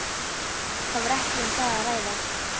Það var ekki um það að ræða.